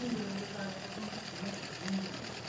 উঠেছে বলে তো আজ পর্যন্ত শুনেছি, শুনিনি আমি।